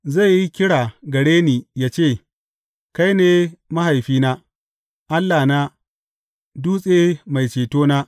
Zai yi kira gare ni yă ce, Kai ne Mahaifina, Allahna, Dutse mai cetona.’